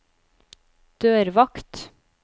dørvakt